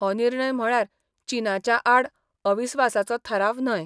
हो निर्णय म्हळ्यार चीनाच्या आड अविस्वासाचो थाराव न्हय.